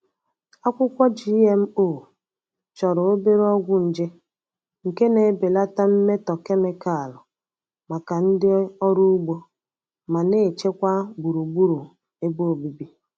Akwụkwọ GMO chọrọ obere ọgwụ nje, nke na-ebelata mmetọ kemịkalụ maka ndị ọrụ ugbo ma na-echekwa gburugburu ebe obibi.